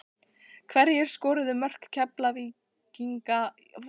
Hverjir skoruðu mörk Keflvíkinga í úrslitum VISA-bikarsins?